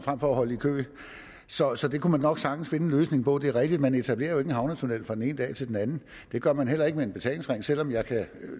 at holde i kø så så det kunne man nok sagtens finde en løsning på det er rigtigt at man jo ikke etablerer en havnetunnel fra den ene dag til den anden det gør man heller ikke med en betalingsring selv om jeg